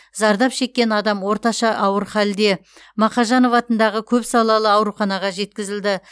зардап шеккен адам орташа ауыр халде мақажанов атындағы көпсалалы ауруханаға жеткізілді